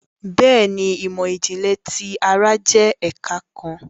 Béèni, imọ-jinlẹ ti ara jẹ ẹka kàn